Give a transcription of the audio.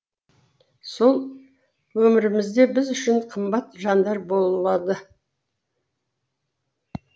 сол өмірімізде біз үшін қымбат жандар болады